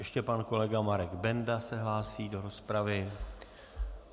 Ještě pan kolega Marek Benda se hlásí do rozpravy.